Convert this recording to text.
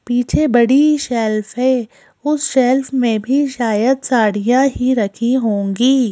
पीछे बड़ी शेल्फ है उस शेल्फ मे भी शायद साड़िया ही रखी होंगी।